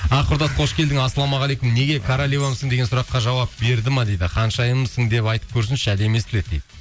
құрдас қош келдің ассалаумағалейкум неге королевамсың деген сұраққа жауап берді ме дейді ханшайымсың деп айтып көрсінші әдемі естіледі дейді